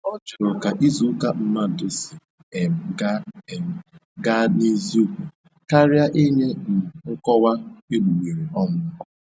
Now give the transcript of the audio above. Ọ jụrụ ka izuụka mmadụ si um gaa um gaa n'eziokwu, karịa inye um nkọwa egbugbereọnụ